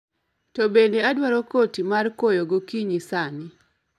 To bende adwaro koti mar koyo gokinyi sani